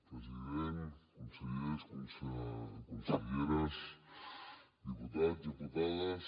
president consellers conselleres diputats diputades